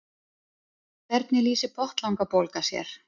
hvernig lýsir botnlangabólga sér